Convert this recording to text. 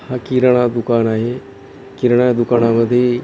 हा किराणा दुकान आहे किराणा दुकानामध्ये--